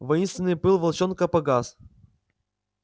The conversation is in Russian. воинственный пыл волчонка погас